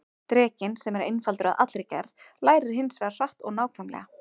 Drekinn, sem er einfaldur að allri gerð, lærir hins vegar hratt og nákvæmlega.